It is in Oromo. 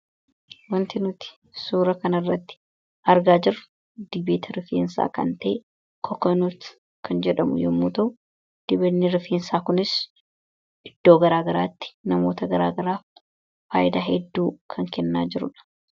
Waanti nuti suura kana irratti argaa jirru, dibata rifeensaa kan ta'e kokanuut (coconut) kan jedhamu yemmuu ta'u, Dibatni rifeensaa Kunis iddoo garaagaraatti, namoota garaagaraa fayidaa hedduu kan kennaa jirudha.